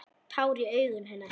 Tár í augum hennar.